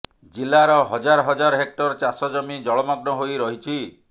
ଜିଲ୍ଲାର ହଜାର ହଜାର ହେକ୍ଟର ଚାଷଜମି ଜଳମଗ୍ନ ହୋଇ ରହିଛି